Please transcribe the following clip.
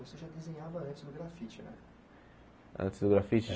Você já desenhava antes do grafite né Antes do grafite?